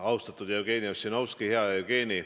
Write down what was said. Austatud Jevgeni Ossinovski, hea Jevgeni!